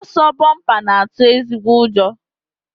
Ọsọ bọmpa na-atụ ezigbo ụjọ